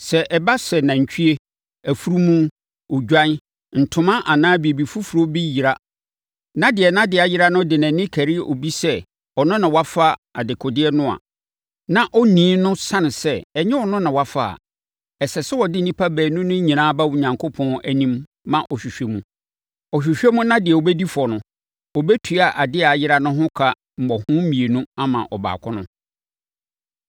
Sɛ ɛba sɛ nantwie, afunumu, odwan, ntoma anaa biribi foforɔ bi yera na deɛ nʼadeɛ ayera no de nʼani kari obi sɛ ɔno na wafa dekodeɛ no, na onii no sane sɛ ɛnyɛ ɔno na wafa a, ɛsɛ sɛ wɔde nnipa baanu no nyinaa ba Onyankopɔn anim ma ɔhwehwɛ mu. Ɔhwehwɛ mu na deɛ ɔbɛdi fɔ no, ɔbɛtua adeɛ a ɛyeraeɛ no ho ka mmɔho mmienu ama ɔbaako no.